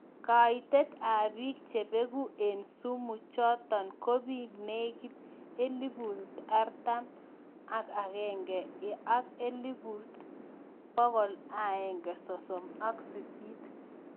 Kaitet ap piik chebeguu en sumuu chotok kobiik legit elefut artam ak agenge ak elfut pokol aenge sosom ak sisit